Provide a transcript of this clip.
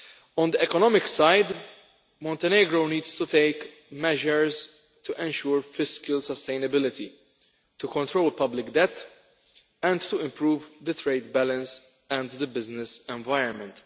On the economic side, Montenegro needs to take measures to ensure fiscal sustainability, to control public, and to improve the trade balance and the business environment.